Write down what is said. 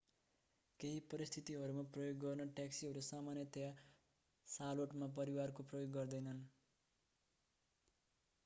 केहि परिस्थितिहरूमा प्रयोग गर्न ट्याक्सीहरू सामान्यतया शार्लोटमा परिवारहरूले प्रयोग गर्दैनन्